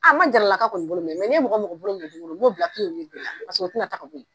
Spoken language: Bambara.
n ma jarala ka kɔni bolo minɛ ni n ye mɔgɔ o mɔgɔ bolo minɛ don o don n b'o bila de la paseke o tina taa ka bo yen.